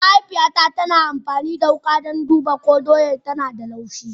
Mahaifiyata tana amfani da wuka don duba ko dodon yana da laushi.